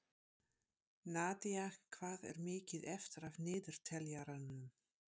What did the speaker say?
Nadía, hvað er mikið eftir af niðurteljaranum?